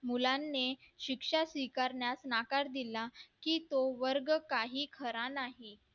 मुलांनी शिक्षा स्वीकारण्यात नाकार दिला की तो वर्ग काही खरा नाही